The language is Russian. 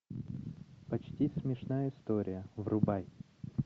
почти смешная история врубай